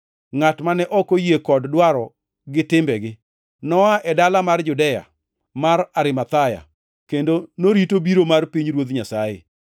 ngʼat mane ok oyie kod dwaro gi timbegi. Noa e dala mar Judea mar Arimathaya kendo norito biro mar pinyruoth Nyasaye.